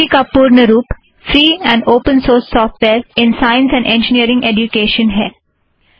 FOSSEE का पूर्ण रूप free and open source software in science and engineering education है